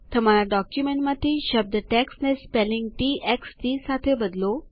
તમારા ડોક્યુમેન્ટમાંથી શબ્દ ટેક્સ્ટ ને સ્પેલિંગ શબ્દરચના ટી એક્સ ટી થી બદલો